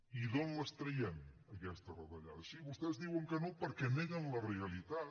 i d’on les traiem aquestes retallades sí vostès diuen que no perquè neguen la realitat